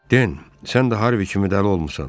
Den, sən də Harvi kimi dəlil olmusan?